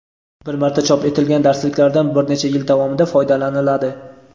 bir marta chop etilgan darsliklardan bir necha yil davomida foydalaniladi.